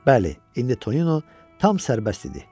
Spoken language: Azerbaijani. Bəli, indi Tonino tam sərbəst idi.